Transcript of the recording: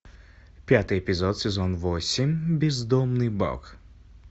пятый эпизод сезон восемь бездомный бог